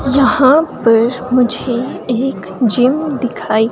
यहां पर मुझे एक जिम दिखाई--